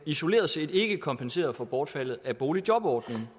isoleret set ikke kompenserede for bortfaldet af boligjobordningen